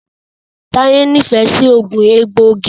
Taye n'ifẹ sí oogun egboigi.